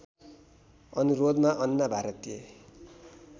अनुरोधमा अन्ना भारतीय